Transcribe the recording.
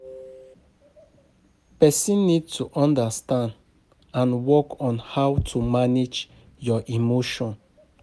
Person need to understand and work on how to manage your emotion